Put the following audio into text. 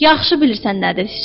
Yaxşı bilirsən nədir?